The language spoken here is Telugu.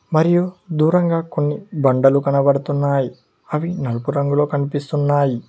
మరియు దూరంగా కొన్ని బండలు కనబడుతున్నాయి అవి నలుపు రంగులో కనిపిస్తున్నాయి.